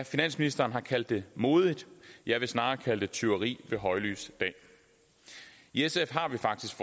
finansministeren har kaldt det modigt jeg vil snarere kalde det tyveri ved højlys dag i sf har vi faktisk